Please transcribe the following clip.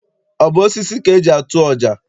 Ọ bụ osisi ka eji atụ ọja?